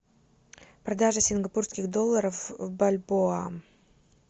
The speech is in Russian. продажа сингапурских долларов в бальбоа